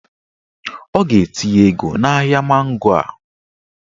Ọ ga-etinye ego n'ahịa mango a